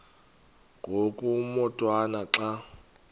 ngoku umotwana xa